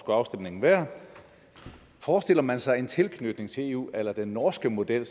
afstemningen være forestiller man sig en tilknytning til eu a la den norske model